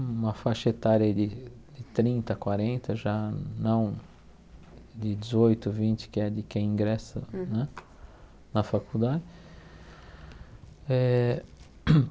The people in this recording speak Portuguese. uma faixa etária de de trinta, quarenta já não de dezoito, vinte, que é de quem ingressa né na faculdade. Eh